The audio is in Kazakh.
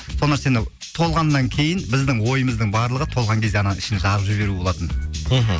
сол нәрсені толғаннан кейін біздің ойымыздың барлығы толған кезде ғана ішін жарып жіберу болатын мхм